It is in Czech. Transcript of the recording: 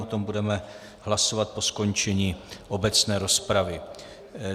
O tom budeme hlasovat po skončení obecné rozpravy.